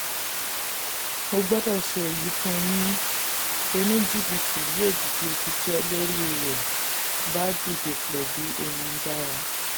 mo gbọ́dọ̀ sọ èyí fún yín oní-jìbìtì yóò dìde ṣisẹ́ lórí rẹ̀ bá lórí rẹ̀ bá dìde pẹ̀lú ohun dára.